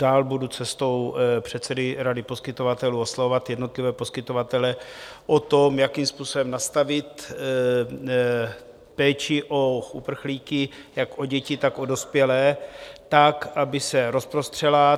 Dále budu cestou předsedy rady poskytovatelů oslovovat jednotlivé poskytovatele v tom, jakým způsobem nastavit péči o uprchlíky, jak o děti, tak o dospělé, tak, aby se rozprostřela.